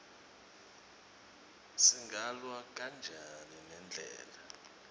singalwa kanjani nendlala